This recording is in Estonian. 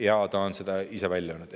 Ja ta on ise selle välja öelnud.